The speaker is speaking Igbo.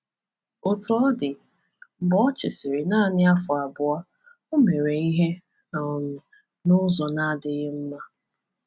Otú ọ dị, mgbe o chịsịrị naanị afọ abụọ, o mere ihe um n’ụzọ na-adịghị mma.